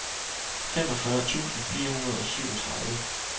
femogfyrre tusind fire hundrede og syvogtredive